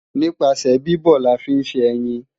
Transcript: Nípasẹ̀ bíbọ̀ la fi ń ṣe ẹyin